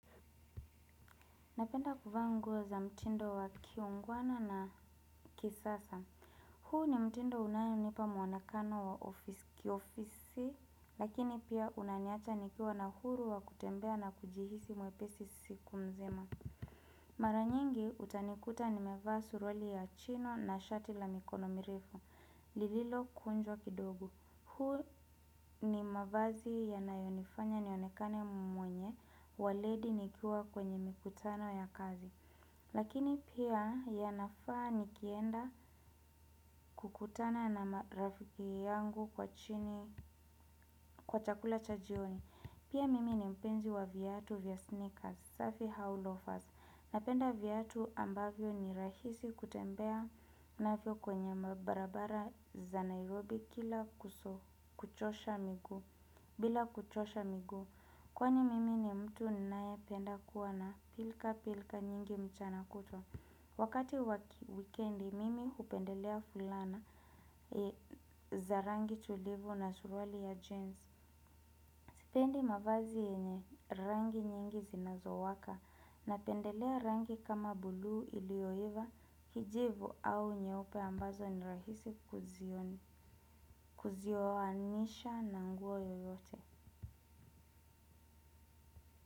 Napenda kuvaa nguo za mtindo wa kiungwana na kisasa. Huu ni mtindo unayonipa muanekano wa kiofisi, lakini pia unaniacha nikiwa na huru wa kutembea na kujihisi mwepesi siku mzima. Maranyingi, utanikuta ni mevaa suruali ya chino na shati la mikono mirefu, lililo kunjwa kidogo. Huwa ni mavazi ya nayonifanya nionekane mwenye waledi nikiwa kwenye mikutano ya kazi. Lakini pia ya nafaa nikienda kukutana na marafiki yangu kwa chini kwa chakula cha jioni. Pia mimi ni mpenzi wa viatu vya sneakers, safi rovers. Napenda vyatu ambavyo ni rahisi kutembea navyo kwenye mabarabara za Nairobi kila kuchosha miguu. Bila kuchosha miguu kwani mimi ni mtu ninae penda kuwa na pilka pilka nyingi mchana kutwa. Wakati waki weekendi mimi hupendelea fulana za rangi tulivu na suruali ya jeans. Sipendi mavazi yenye rangi nyingi zinazowaka napendelea rangi kama buluu iliyoiva kijivu au nyeupe ambazo nirahisi kuzioanisha na nguo yoyote.